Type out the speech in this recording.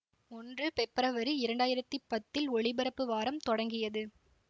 ஒன்று பெப்ரவரி இரண்டாயிரத்தி பத்தில் ஒலிபரப்பு வாரம் தொடங்கியது